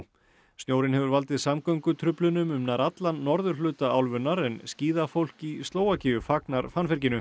snjórinn hefur valdið samgöngutruflunum um nær allan norðurhluta álfunnar en skíðafólk í Slóvakíu fagnar